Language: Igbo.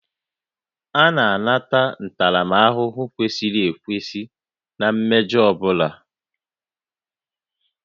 A na-ata ntaramahụhụ kwesịrị ekwesị na mmejọ ọ bụla